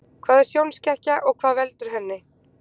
Hvað er sjónskekkja og hvað veldur henni?